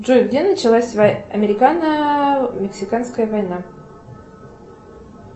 джой где началась американо мексиканская война